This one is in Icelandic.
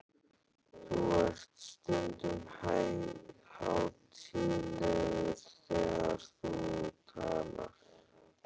Þú ert stundum hátíðlegur þegar þú talar.